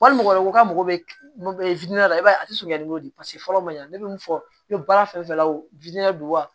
Wali mɔgɔ wɛrɛ ko k'a mago bɛ la i b'a ye a tɛ sonya ni n'o de ye fɔlɔ ma ɲa ne bɛ min fɔ i bɛ baara fɛn fɛn la o don wa